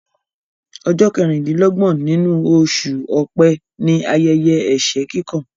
Ọjọ́ kẹrin-din-lọ́gbọ̀n inú oṣù ọ̀pẹ ni ayẹyẹ ẹsẹ kíkan